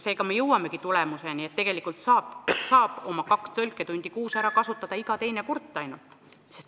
Nii jõuamegi järelduseni, et tegelikult saab oma kaks tõlketundi kuus ära kasutada vaid iga teine kurt.